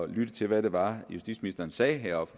lytte til hvad det var justitsministeren sagde heroppe